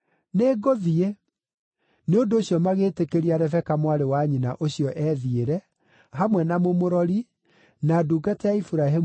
Nĩ ũndũ ũcio magĩtĩkĩria Rebeka mwarĩ wa nyina ũcio ethiĩre, hamwe na mũmũrori, na ndungata ya Iburahĩmu na andũ ake.